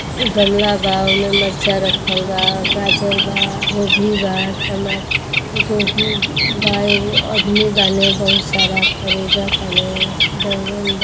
गमला बा ओमें मरचा रखल बा गाजर बा गोभी बा टमाटर गोभी बा एगो अदमी बाने बहुत सारा ख़रीदताने बैगन बा |